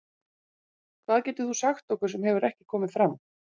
Hvað getur þú sagt okkur sem hefur ekki komið fram?